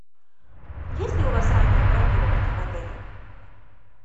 есть ли у вас раннее бронирование в отеле